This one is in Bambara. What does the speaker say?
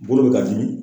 Bolo bɛ ka dimi